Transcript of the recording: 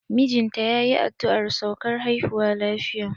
Mijinta yayi addu'ar saukar haihuwa lafiya.